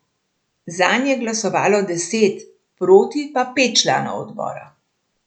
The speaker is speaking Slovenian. Zanj je glasovalo deset, proti pa pet članov odbora.